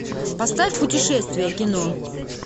поставь путешествие кино